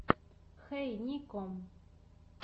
хей нико